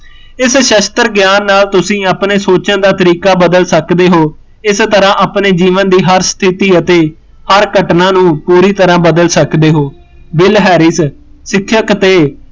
ਇਸ ਸ਼ਸਤਰ ਗਿਆਨ ਨਾਲ਼ ਤੁਸੀਂ ਆਪਣੇ ਸੋਚਣ ਦਾ ਤਰੀਕਾ ਬਦਲ ਸਕਦੇ ਹੋ, ਇਸ ਤਰਾ ਆਪਣੇ ਜੀਵਨ ਦੀ ਹਰ ਸਥਿਤੀ ਅਤੇ ਹਰ ਘਟਨਾ ਨੂੰ ਪੂਰੀ ਟਰਾ ਬਦਲ ਸਕਦੇ ਹੋ, ਬਿਲ ਹੈਰਿਸ ਸਿੱਖਅਕ ਤੇ